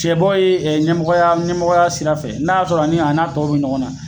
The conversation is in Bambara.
Cɛbɔ ye ɲɛmɔgɔya ɲɛmɔgɔya sira fɛ, n'a y'a sɔrɔ ani a n'a tɔw bɛ ɲɔgɔn na.